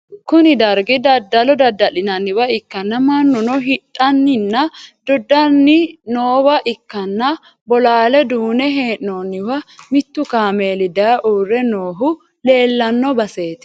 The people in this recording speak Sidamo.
kuni dargi daddalo dadda'linanniwa ikkanna, mannuno hidhanninna doodhanni noowa ikkanna, bolaalla duunne hee'noonniwa mittu kaameeli daye uurre noohu leellano baseti.